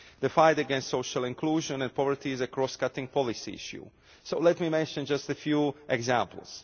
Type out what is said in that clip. The fight against social exclusion and poverty is a cross cutting policy issue, so let me mention just a few examples.